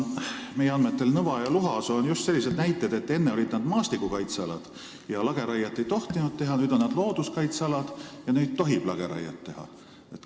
Meie andmetel olid Nõva ja Luhasoo enne maastikukaitsealad ja lageraiet ei tohtinud seal teha, nüüd on nad looduskaitsealad ja seal tohib lageraiet teha.